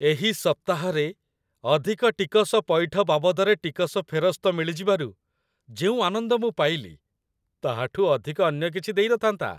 ଏହି ସପ୍ତାହରେ, ଅଧିକ ଟିକସ ପଇଠ ବାବଦରେ ଟିକସ ଫେରସ୍ତ ମିଳିଯିବାରୁ ଯେଉଁ ଆନନ୍ଦ ମୁଁ ପାଇଲି, ତାହାଠୁ ଅଧିକ ଅନ୍ୟ କିଛି ଦେଇନଥାନ୍ତା।